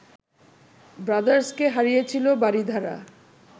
ব্রাদার্সকে হারিয়েছিল বারিধারা